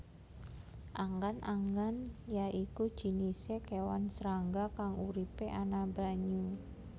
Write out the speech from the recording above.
Anggang anggang ya iku jinisé kéwan srangga kang uripé ana banyu